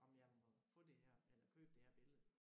Om jeg må få det her eller købe det her billede